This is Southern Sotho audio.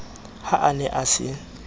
ha a ne a se